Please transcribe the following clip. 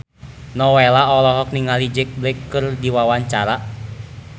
Nowela olohok ningali Jack Black keur diwawancara